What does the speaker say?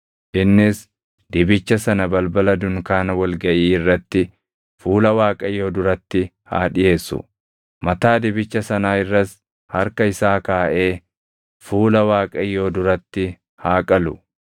Innis dibicha sana balbala dunkaana wal gaʼii irratti fuula Waaqayyoo duratti haa dhiʼeessu. Mataa dibicha sanaa irras harka isaa kaaʼee fuula Waaqayyoo duratti haa qalu.